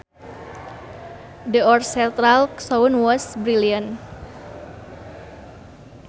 The orchestral sound was brilliant